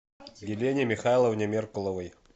елене михайловне меркуловой